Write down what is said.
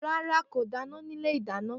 Ràrá, kó dàná ní ìlé ìdàná.